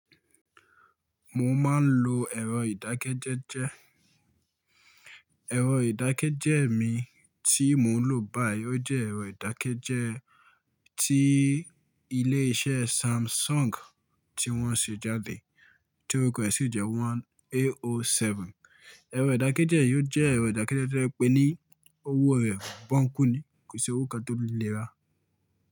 Mo máa ń lo ẹ̀rọ ìdákẹ́jẹ́jẹ́. Ẹ̀rọ ìdákẹ́jẹ́ mi tí mo ń lò báyìí ó jẹ́ ẹ̀rọ ìdákẹ́jẹ́ tí ilé iṣẹ́ Samsung tí wọ́n ṣe jáde ti oruko e sí ìjẹ́ one AO7. Ẹ̀rọ ìdákẹ́jẹ́ yìí ó jẹ́ ẹ̀rọ ìdákẹ́jẹ́ tó jè pè ní owó rẹ̀ bọ́ǹkù ni kò sì owó kan tó lè rà á.